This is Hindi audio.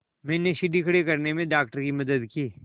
मैंने सीढ़ी खड़े करने में डॉक्टर की मदद की